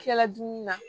Kila dumuni na